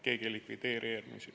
Keegi ei likvideeri eelmisi.